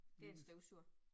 Det en støvsuger